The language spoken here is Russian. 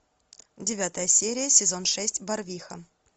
девятая серия сезон шесть барвиха